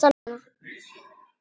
Kjartan: Smá stress, svona?